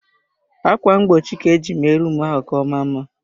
Akwa mgbochi ka-eji mee rum ahụ ka ọmaa mma.